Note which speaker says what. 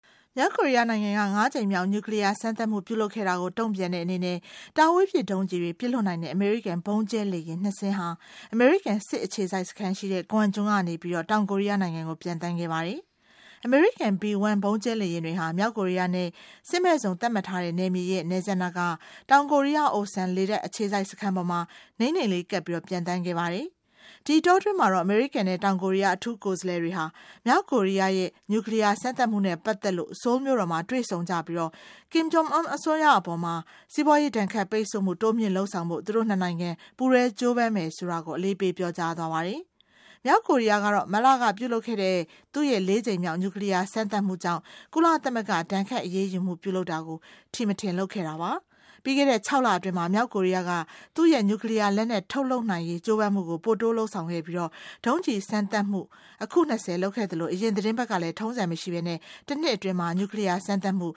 Speaker 1: မြောက်ကိုရီးယားနိုင်ငံက ၅ ကြိမ်မြောက် nuclear စမ်းသပ်မှုပြုလုပ်ခဲ့တာကို တုံ့ပြန်တဲ့အနေနဲ့ တာဝေးပစ်ဒုံးကျဉ်တွေ ပစ်လွှတ်နိုင်တဲ့ အမေရိကန် ဗုံးကျဲလေယာဉ် ၂ စင်းဟာ အမေရိကန်စစ်အခြေစိုက်စခန်းရှိတဲ့ Guam ကျွန်းကနေ တောင်ကိုရီးယားနိုင်ငံကို ပျံသန်းခဲ့ပါတယ်။ အမေရိကန် B1 ဗုံးကျဲလေယာဉ်တွေဟာ မြောက်ကိုရီးယားနဲ့ စစ်မဲ့ဇုံသတ်မှတ်ထားတဲ့နယ်မြေရဲ့ နယ်စပ်နားက တောင်ကိုရီးယား Osan လေတပ်အခြေစိုက်စခန်းပေါ်မှာ နိမ့်နိမ့်လေးကပ်ပြီး ပျံသန်းခဲ့ပါတယ်။ ဒီအတောအတွင်းမှာတော့ အမေရိကန်နဲ့ တောင်ကိုရီးယား အထူးကိုယ်စားလှယ်တွေဟာ မြောက်ကိုရီးယားရဲ့ nuclear စမ်းသပ်မှုနဲ့ ပတ်သတ်လို့ Seoul မြို့တော်မှာ တွေ့ဆုံကြပြီး Kim Jong Un အစိုးရ အပေါ် စီးပွားရေးဒဏ်ခတ်ပိတ်ဆို့မှု တိုးမြှင့်လုပ်ဆာင်ဖို့ သူတို့ ၂ နိုင်ငံ ပူးတွဲကြိုးပမ်းမယ်ဆိုတာ အလေးပေးပြောကြားသွားပါတယ်။ မြောက်ကိုရီးယားကတော့ မတ်လကပြုလုပ်ခဲ့တဲ့ သူရဲ့ ၄ ကြိမ်မြောက်nuclear စမ်းသပ်မှုကြောင့် ကုလသမဂ္ဂက ဒဏ်ခတ်အရေးယူမှု ပြုလုပ်တာကို ထီမထင်လုပ်ခဲ့ပါတယ်။ ပြီးခဲ့တဲ့ ၆ လအတွင်းမှာ မြောက်ကိုရီးယားက သူ့ရဲ့ nuclear လက်နက်ထုတ်လုပ်နိုင်ရေး ကြိုးပမ်းမှုကို ပိုတိုးလုပ်ဆောင်ခဲ့ပြီး ဒုံးကျဉ်းစမ်းသပ်မှု အခု ၂၀ လုပ်ခဲ့သလို အရင်သီတင်းပတ်ကလည်း ထုံးစံမရှိပဲ တနှစ်အတွင်း
Speaker 2: nuclear စမ်းသပ်မှု